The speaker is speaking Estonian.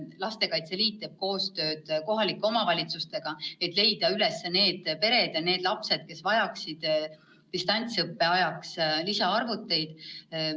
Lastekaitse Liit teeb koostööd kohalike omavalitsustega, et leida üles pered ja lapsed, kes vajaksid distantsõppe ajaks lisaarvuteid.